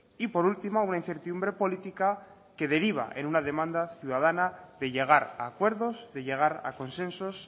y por último una incertidumbre política que deriva en una demanda ciudadana de llegar a acuerdos de llegar a consensos